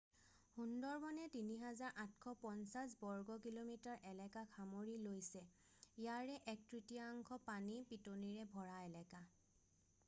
সুন্দৰবনে ৩,৮৫০ বৰ্গকিমি এলেকাক সামৰি লৈছে ইয়াৰে এক-তৃতীয়াংশ পানী/পিতনিৰে ভৰা এলেকা।